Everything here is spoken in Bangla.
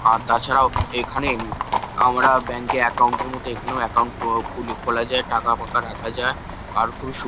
আর তাছাড়াও এখানে উম আমরা ব্যাঙ্ক -এ একাউন্ট -এর মতো এখানেও একাউন্ট কো খুলি খোলা যায়। টাকা-ফাকা রাখা যায়। আর খুবই সু--